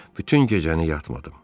Bütün gecəni yatmadım.